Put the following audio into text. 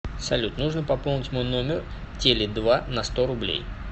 салют нужно пополнить мой номер теле два на сто рублей